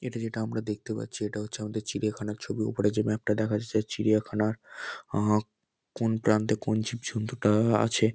এটা যেটা আমরা দেখতে পাচ্ছি এটা হচ্ছে আমাদের চিড়িয়াখানার ছবি। উপরে যে ম্যাপ টা দেখা যাচ্ছে চিড়িয়াখানার আহ কোন প্রান্তে কোন জীবজন্তু টা আ আছে।